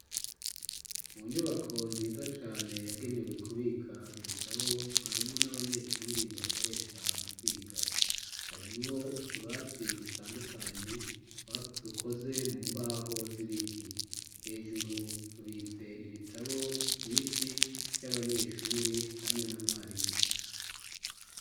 Mu nyubako nziza cane yagenewe kubika ibitabo mwarimu n'abanyeshuri bakoresha mu kwiga. Harimwo utubati dutandukanye dukoze mu mbaho z'ibiti hejuru, tubitse ibitabo vyinshi vy'abanyeshuri hamwe na mwarimu.